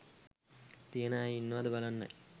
තියෙන අය ඉන්නවද බලන්නයි